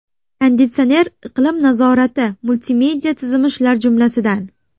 Konditsioner, iqlim nazorati, multimedia tizimi shular jumlasidan.